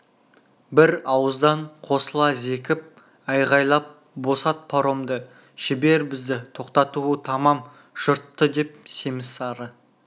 бір ауыздан қосыла зекіп айғайлап босат паромды жібер бізді тоқтатуы тамам жұртты деп семіз сары